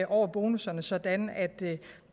over bonusserne sådan at det